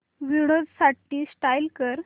Windows साठी install कर